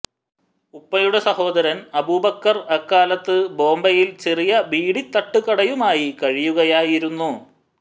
ഉപ്പയുടെ സഹോദരൻ അബൂബക്കർ അക്കാലത്ത് ബോംബെയിൽ ചെറിയ ബീഡി തട്ടുകടയുമായി കഴിയുകയായിരുന്നു